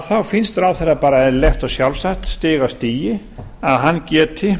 þá finnst ráðherra bara eðlilegt og sjálfsagt stig af stigi að hann geti